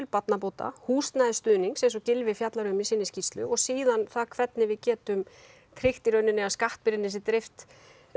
barnabóta húsnæðisstuðnings eins og Gylfi fjallar um í sinni skýrslu og síðan hvernig við getum tryggt að skattbyrgðinni sé dreift